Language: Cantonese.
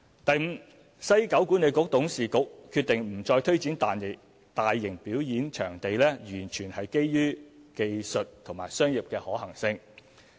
第五，西九管理局董事局決定不再推展大型表演場地，完全是基於技術和商業的可行性。